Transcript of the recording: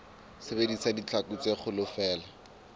sebedisa ditlhaku tse kgolo feela